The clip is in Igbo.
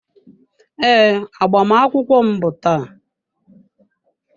Ee, agbamakwụkwọ m bụ taa.